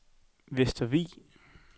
Vestervig